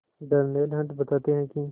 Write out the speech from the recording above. Darnell Hunt बताते हैं कि